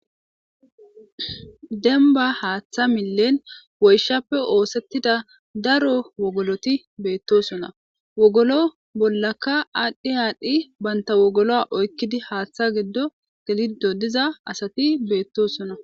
Dembba haatha millen woyshappe oothetido wogoloti beetoosona. Wogolo bolanika aadhi aadhi banta wogolo oykidi diza naygi